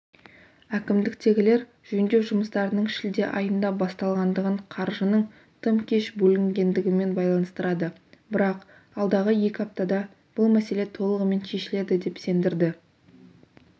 әкімдіктегілер жөндеу жұмыстарының шілде айында басталғандығын қаржының тым кеш бөлінгендігімен байланыстырады бірақ алдағы екі аптада бұл мәселе толығымен шешіледі деп сендірді